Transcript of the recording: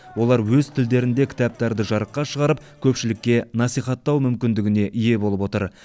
олар өз тілдерінде кітаптарды жарыққа шығарып көпшілікке насихаттау мүмкіндігіне ие болып отыр